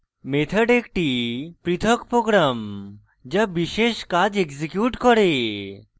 method একটি পৃথক program যা বিশেষ কাজ এক্সিকিউট করে